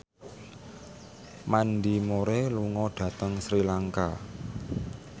Mandy Moore lunga dhateng Sri Lanka